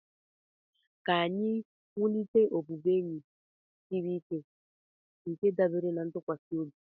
Ka anyị wulite ọbụbụenyi siri ike nke dábèrè na ntụkwasị obi